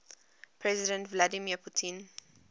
president vladimir putin